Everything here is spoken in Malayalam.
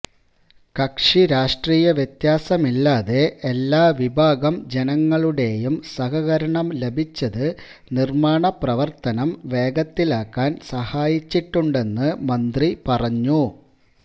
കക്ഷിരാഷ്ട്രീയ വ്യത്യാസമില്ലാതെ എല്ലാ വിഭാഗം ജനങ്ങളുടെയും സഹകരണം ലഭിച്ചത് നിര്മാണപ്രവര്ത്തനം വേഗത്തിലാക്കാന് സഹായിച്ചിട്ടുണ്ടെന്ന് മന്ത്രി പറഞ്ഞു